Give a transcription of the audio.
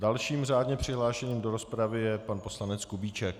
Dalším řádně přihlášeným do rozpravy je pan poslanec Kubíček.